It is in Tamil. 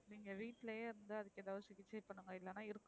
நீங்க வீட்டுலையே இருந்து அதுக்கு எதாவது சிகிச்சை பண்ணுங்க இல்லன